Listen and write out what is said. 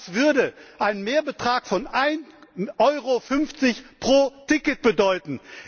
Das würde einen Mehrbetrag von 1,50 EUR pro Ticket bedeuten!